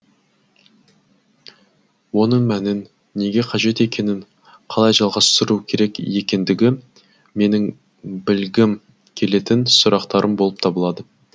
оның мәнін неге қажет екенін қалай жалғастыру керек екендігі менің білгім келетін сұрақтарым болып табылады